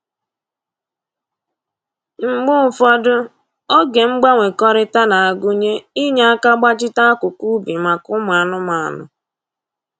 Mgbe ụfọdụ, oge mgbanwekọrịta na-agụnye inye aka gbachite akụkụ ubi maka ụmụ anụmanụ